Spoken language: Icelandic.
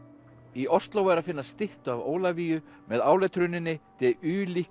í Osló er að finna styttu af Ólafíu með áletruninni de